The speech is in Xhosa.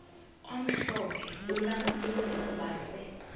omhlophe ulampulo wase